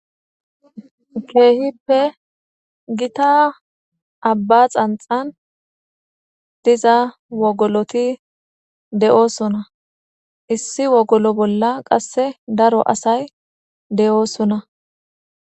keehippe gita abba xanxan diza wogoloti de7oosona issi wogolo bolla qasse daro asay de7oosona